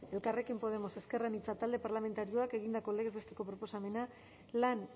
elkarrekin podemos ezker anitza talde parlamentarioak egindako legez besteko proposamena lan